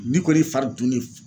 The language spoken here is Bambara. Ni kɔni ye fari dunni